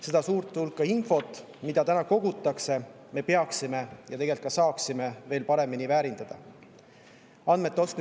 Seda suurt hulka infot, mida täna kogutakse, peaksime me veel paremini väärindama ja tegelikult me saaksime seda ka teha.